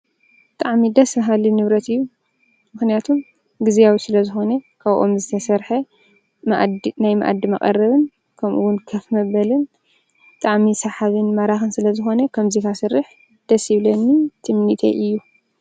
ብጣዕሚ ደስ በሃሊ ንብረት እዩ። ምኽንያቱ ግዝያዊ ስለዝኾነ፣ ካብኦም ዝተሰርሐ ናይ መኣዲ መቐረቢ፣ ከምኡ እውን ከፍ መበሊ ብጣዕሚ ሰሓብን ማራኽን ዝለዝኾነ፣ ከምዚ ከስርሕ ደስ ይብለኒ ትምኒተይ እዩ፡፡